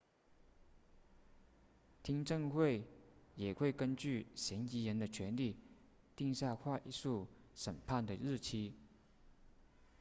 听证会也会根据嫌疑人的权利定下快速审判的日期